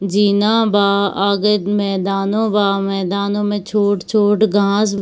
जीना बा आगे मैदानो बा मैदानो मे छोट-छोट घास --